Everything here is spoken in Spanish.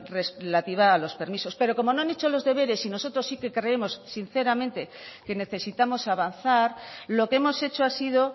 relativa a los permisos pero como no han hecho los deberes y nosotros sí que creemos sinceramente que necesitamos avanzar lo que hemos hecho ha sido